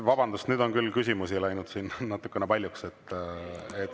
Vabandust, nüüd on küll küsimusi läinud siin natuke paljuks.